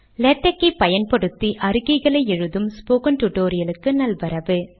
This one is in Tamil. லேடக் ஐ பயன்படுத்தி கடிதங்கள் எழுதும் முறை tutorialக்கு நல்வரவு